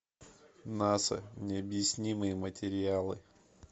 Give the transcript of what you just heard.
наса необъяснимые материалы